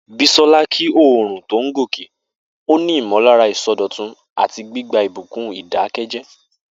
Bisola kí oòrùn tó ń gòkè, ó ní ìmọ̀lára ìsọdọ̀tun àti gbígba ìbùkún ìdákẹ́jẹ́ẹ́.